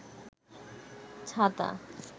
ছাতা